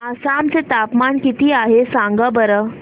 आसाम चे तापमान किती आहे सांगा बरं